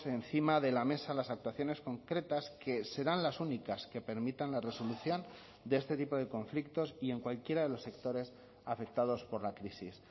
encima de la mesa las actuaciones concretas que serán las únicas que permitan la resolución de este tipo de conflictos y en cualquiera de los sectores afectados por la crisis